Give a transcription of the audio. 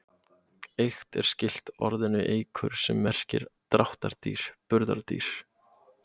Eykt er skylt orðinu eykur sem merkir dráttardýr, burðardýr.